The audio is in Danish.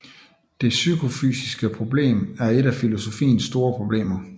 Det psykofysiske problem er et af filosofiens store problemer